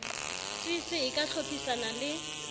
cc e ka hlodisana le